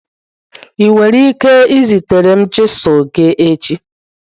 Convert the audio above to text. ị nwere ike izitere m chisilu gị echi?